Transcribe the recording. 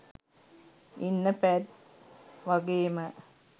ඉන්න පැට් වගේම